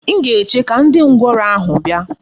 M ga-eche ka ndi ngworo ahu bia.